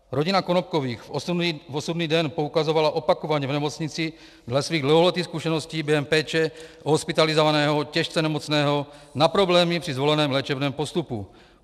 Rodina Konopkových v osudný den poukazovala opakovaně v nemocnici dle svých dlouholetých zkušeností během péče o hospitalizovaného těžce nemocného na problémy při zvoleném léčebném postupu.